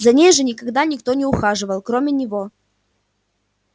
за ней же никогда никто не ухаживал кроме него